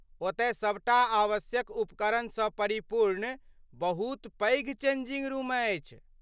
ओतय सभटा आवश्यक उपकरणसँ परिपूर्ण बहुत पैघ चेंजिंग रूम अछि।